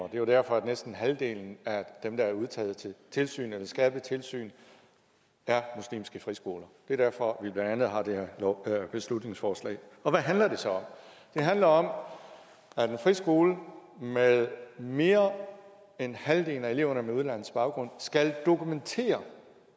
er jo derfor at næsten halvdelen af dem der er udtaget til tilsyn eller skærpet tilsyn er muslimske friskoler det er derfor at vi blandt andet har det her beslutningsforslag og hvad handler det så om det handler om at en friskole hvor mere end halvdelen af eleverne har udenlandsk baggrund skal dokumentere